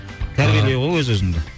тәрбиелеу ғой өз өзіңді